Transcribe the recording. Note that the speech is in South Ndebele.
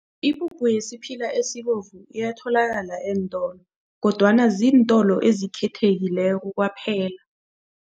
Ipuphu yesiphila esibovu iyatholakala eentolo kodwana ziintolo ezikhethekileko kwaphela.